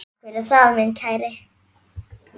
Takk fyrir það, minn kæri.